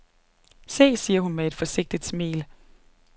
Se, siger hun med et forsigtigt smil.